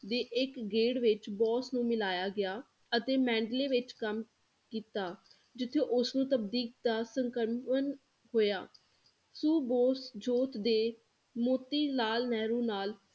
ਦੇ ਇੱਕ ਗੇੜ੍ਹ ਵਿਚ ਬੋਸ ਨੂੰ ਮਿਲਾਇਆ ਗਿਆ ਅਤੇ ਮੈਂਡਲੇ ਵਿੱਚ ਕੰਮ ਕੀਤਾ, ਜਿੱਥੇ ਉਸ ਨੂੰ ਦਾ ਸਕਰਮਨ ਹੋਇਆ ਸੋ ਬੋਸ ਜੋਤ ਦੇ ਮੋਤੀ ਲਾਲ ਨੇਹਰੁ ਨਾਲ